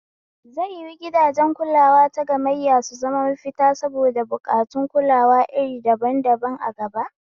Zai yiwu gidajen kulawa tagammayya su zama mafita saboda buƙatuwar kulawa iri daban daban a gaba?